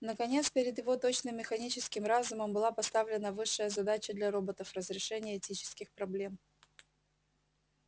наконец перед его точным механическим разумом была поставлена высшая задача для роботов разрешение этических проблем